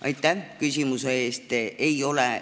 Aitäh küsimuse eest!